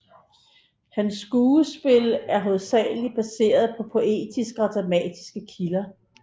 Hans skuespil er hovedsageligt baseret på poetiske og dramatiske kilder